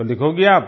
तो लिखोगी आप